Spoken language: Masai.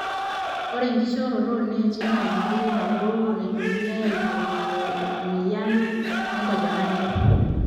ore enkishooroto ooneeti naa enkoitoi nabo naitumiai aaibooyo in mweyian enkajang'ani te kenya